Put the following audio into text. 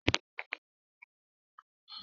Orúkọ àwọn òṣìṣẹ́ pọ̀ débi pé mi ò lè rántí wọn.